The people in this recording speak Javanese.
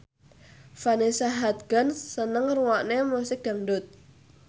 Vanessa Hudgens seneng ngrungokne musik dangdut